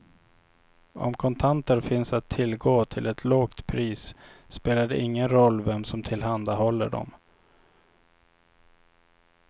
Om kontanter finns att tillgå till ett lågt pris spelar det ingen roll vem som tillhandahåller dem.